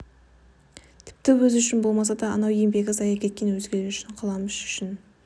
тіпті өзі үшін болмаса да анау еңбегі зая кеткен өзгелер үшін қаламүш үшін